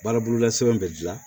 Baara bolola sɛbɛn bɛ dilan